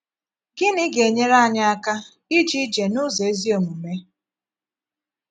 Gịnị ga - enyere ànyị aka íje íje“ n’ụzọ ezí omume ”?